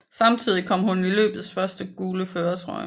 Samtidig kom hun i løbets første gule førertrøje